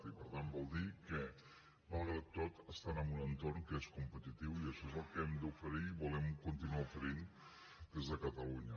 i per tant vol dir que malgrat tot estan en un entorn que és competitiu i això és el que hem d’oferir i volem continuar oferint des de catalunya